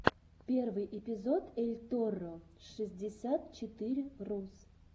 первый эпизод эльторро шестьдесят четыре рус